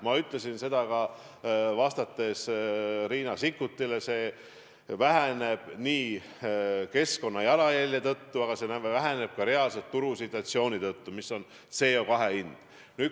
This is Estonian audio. Ma ütlesin seda ka, vastates Riina Sikkutile: see väheneb nii keskkonda jäetava jalajälje tõttu, aga see väheneb ka turusituatsiooni ehk CO2 hinna tõttu.